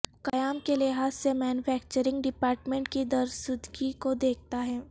قیام کے لحاظ سے مینوفیکچرنگ ڈیپارٹمنٹ کی درستگی کو دیکھتا ہے